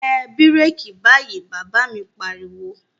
Tẹ bíràkì báyìí, Bàbá mi pariwo